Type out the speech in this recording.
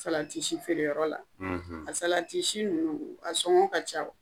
Salatisi feereyɔrɔ la a salatisi ninnu a sɔngɔ ka ca wa ?